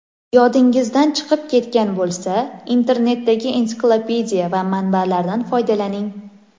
Yodingizdan chiqib ketgan bo‘lsa, internetdagi ensiklopediya va manbalardan foydalaning.